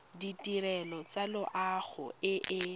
ditirelo tsa loago e e